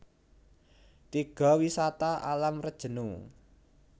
Tiga Wisata Alam Rejenu